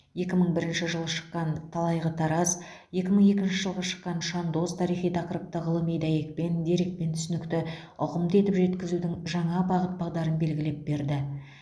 екі мың бірінші жылы шыққан талайғы тараз екі мың екінші жылы шыққан шандоз тарихи тақырыпты ғылыми дәйекпен дерекпен түсінікті ұғымды етіп жеткізудің жаңа бағыт бағдарын белгілеп берді